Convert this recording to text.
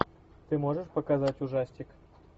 ты можешь показать ужастик